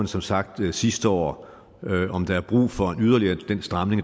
som sagt gjorde sidste år men om der er brug for den yderligere stramning